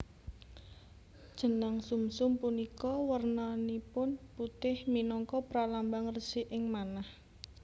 Jenang sumsum punika wernanipun putih minangka pralambang resiking manah